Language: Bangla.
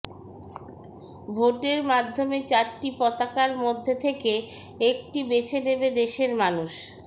ভোটের মাধ্যমে চারটি পতাকার মধ্যে থেকে একটি বেছে নেবে দেশের মানুষ